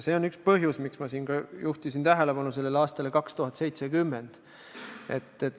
See on üks põhjus, miks ma juhtisin siin tähelepanu aastale 2070.